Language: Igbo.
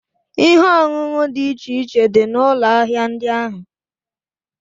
Ihe ọṅụṅụ dị iche iche dị n'ụlọ ahịa ndị ahụ.